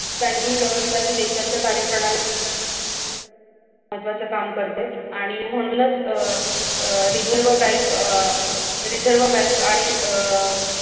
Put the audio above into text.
banking व्यवस्था ही देशाच्या कार्यप्रणालीत महत्त्वाचं काम करते आणि म्हणूनच अह reserve bank अह reserve bank आणि अह